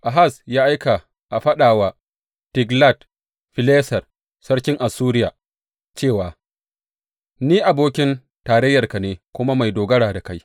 Ahaz ya aika a faɗa wa Tiglat Fileser sarkin Assuriya cewa, Ni abokin tarayyarka ne kuma mai dogara da kai.